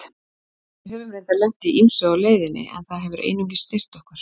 Við höfum reyndar lent í ýmsu á leiðinni en það hefur einungis styrkt okkur.